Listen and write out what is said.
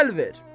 Əl ver.